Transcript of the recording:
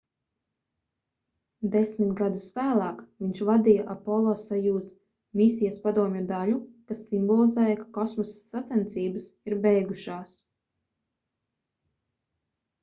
desmit gadus vēlāk viņš vadīja apollo-sojuz misijas padomju daļu kas simbolizēja ka kosmosa sacensības ir beigušās